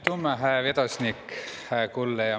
Aitümma, hää vedosnik!